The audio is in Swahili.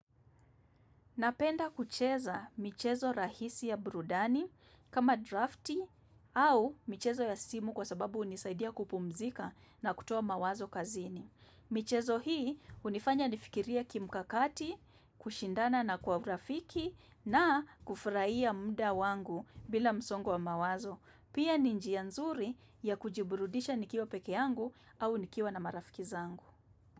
Napenda kucheza michezo rahisi ya brudani kama drafti au michezo ya simu kwa sababu hunisaidia kupumzika na kutuo mawazo kazini. Michezo hii unifanya nifikirie kimkakati, kushindana na kwa urafiki na kufurahia muda wangu bila msongo wamawazo. Pia ninjia nzuri ya kujiburudisha nikiwa peke yangu au nikiwa na marafiki zangu.